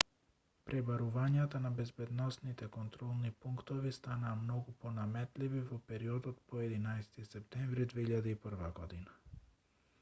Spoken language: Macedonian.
пребарувањата на безбедносните контролни пунктови станаа многу понаметливи во периодот по 11-ти септември 2001